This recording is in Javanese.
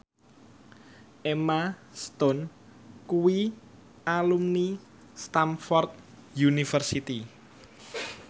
Emma Stone kuwi alumni Stamford University